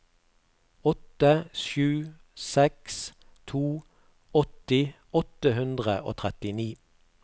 åtte sju seks to åtti åtte hundre og trettini